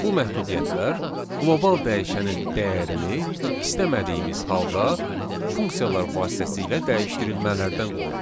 Bu məhdudiyyətlər qlobal dəyişənin dəyərini istəmədiyimiz halda funksiyalar vasitəsilə dəyişdirilmələrdən qoruyur.